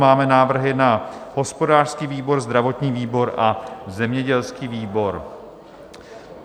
Máme návrhy na hospodářský výbor, zdravotní výbor a zemědělský výbor.